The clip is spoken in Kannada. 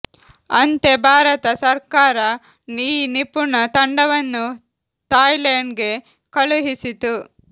ಅಂತೆ ಭಾರತ ಸರ್ಕಾರ ಈ ನಿಪುಣ ತಂಡವನ್ನು ಥಾಯ್ಲೆಂಡ್ ಗೆ ಕಳುಹಿಸಿತು